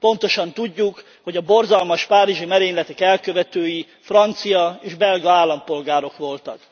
Pontosan tudjuk, hogy a borzalmas párizsi merényletek elkövetői francia és belga állampolgárok voltak.